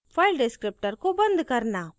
file descriptor को बंद करना